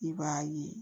I b'a ye